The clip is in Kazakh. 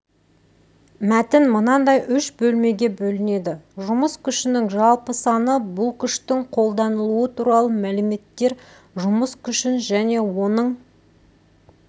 мәтін мынандай үш бөлмеге бөлінеді жұмыс күшінің жалпы саны бұл күштің қолданылуы туралы мәліметтер жұмыс күшін және оның